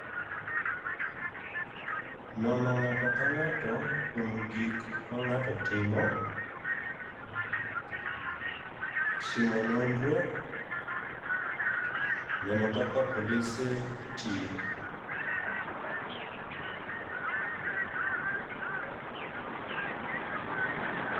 Nono ng'ato ka ng'ato kuom gik ma ng'ato timo. Timo nondro, neno kaka polise tiyo.